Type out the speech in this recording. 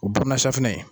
O bɔnna safinɛ